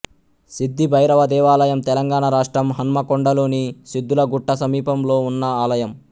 సిద్ధి భైరవ దేవాలయం తెలంగాణ రాష్ట్రం హన్మకొండలోని సిద్ధులగుట్ట సమీపంలో ఉన్న ఆలయం